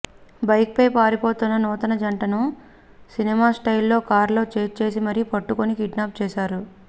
బైక్పై పారిపోతున్న నూతన జంటను సినిమా స్టైల్లో కార్లలో ఛేజ్ చేసి మరీ పట్టుకుని కిడ్నాప్ చేశారు